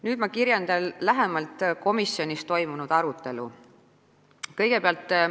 Nüüd kirjeldan lähemalt komisjonis toimunud arutelu.